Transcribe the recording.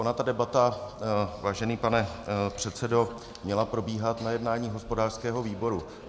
Ona ta debata, vážený pane předsedo, měla probíhat na jednání hospodářského výboru.